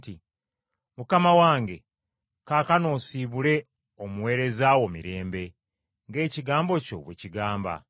“Mukama wange, kaakano osiibule omuweereza wo mirembe, ng’ekigambo kyo bwe kigamba.